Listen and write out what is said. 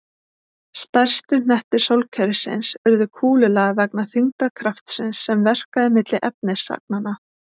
Stærstu hnettir sólkerfisins urðu kúlulaga vegna þyngdarkraftsins sem verkaði milli efnisagnanna.